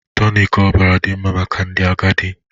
Tonic ọbara dị mma maka ndị agadi